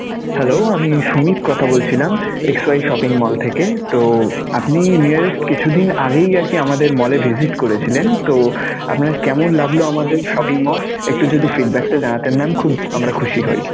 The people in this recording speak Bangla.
হ্যালো, আমি সুমিত কথা বলছিলাম xy shopping mall থেকে. তো আপনি nearest কিছুদিন আগেই আরকি আমাদের mall এ visit করেছিলেন. তো আপনার কেমন লাগলো আমাদের shopping mall? একটু যদি feedback টা জানাতেন mam খুব আমরা খুশি হই.